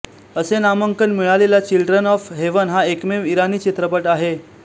असे नामांकन मिळालेला चिल्ड्रन ऑफ हेवन हा एकमेव इराणी चित्रपट आहे